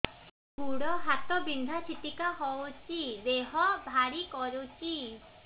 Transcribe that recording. ଗୁଡ଼ ହାତ ବିନ୍ଧା ଛିଟିକା ହଉଚି ଦେହ ଭାରି କରୁଚି